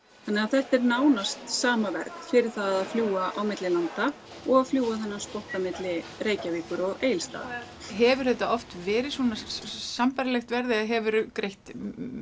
þannig að þetta er nánast sama verð fyrir það að fljúga á milli landa og fljúga þennan spotta á milli Reykjavíkur og Egilsstaða hefur þetta oft verið svona sambærilegt verð eða hefurðu greitt